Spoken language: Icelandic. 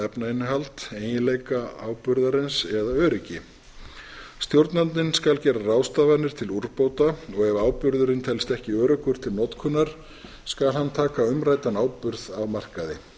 efnainnihald eiginleika áburðarins eða öryggi stjórnandinn skal gera ráðstafanir til úrbóta og ef áburðurinn telst ekki öruggur til notkunar skal hann taka umræddan áburð af markaði